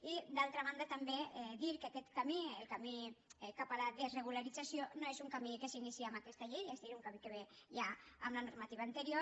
i d’altra banda també dir que aquest camí el camí cap a la desregularització no és un camí que s’inicia amb aquesta llei és a dir és un camí que ve ja amb la normativa anterior